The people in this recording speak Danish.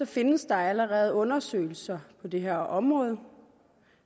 findes der allerede undersøgelser på det her område